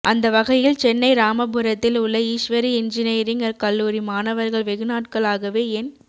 அந்த வகையில் சென்னை ராமபுரத்தில் உள்ள ஈஸ்வரி என்ஜீனிரிங் கல்லுாரி மாணவர்கள் வெகுநாட்களாகவே என்